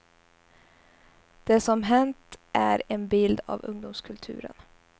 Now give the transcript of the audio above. Det som hänt är en bild av ungdomskulturen.